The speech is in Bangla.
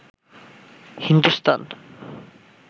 হিন্দুস্তান